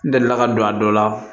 N delila ka don a dɔ la